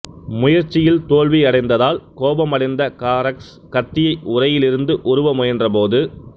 முயற்சியில் தோல்வியடைந்ததால் கோபமடைந்த காரக்ஸ் கத்தியை உறையிலிருந்து உருவ முயன்றபோது